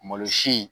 Malosi in